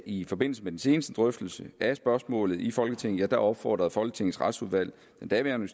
i forbindelse med den seneste drøftelse af spørgsmålet i folketinget opfordrede folketingets retsudvalg den daværende